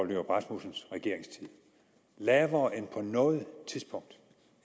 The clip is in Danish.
nyrup rasmussens regeringstid lavere end på noget tidspunkt